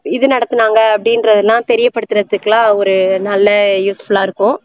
இது நடத்தினாங்க அப்படின்றதை எல்லாம் தெரிய படுத்துறதுக்கு எல்லாம் ஒரு நல்ல useful ஆ இருக்கும்